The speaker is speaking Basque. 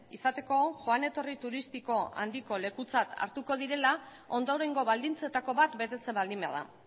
izateko joan etorri turistiko handiko lekutzat hartuko direla ondorengo baldintzetako bat betetzen baldin bada